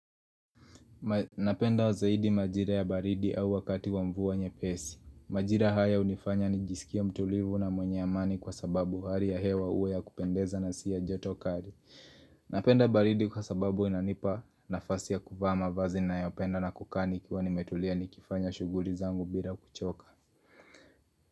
Napenda zaidi majira ya baridi au wakati wa mvua nyepesi. Majira haya hunifanya nijisikia mtulivu na mwenye amani kwa sababu hari ya hewa uwe ya kupendeza na siya joto kari Napenda baridi kwa sababu inanipa nafasi ya kuvaa mavazi ninayo penda na kukaa nikiwa nimetulia nikifanya shuguli zangu bila kuchoka.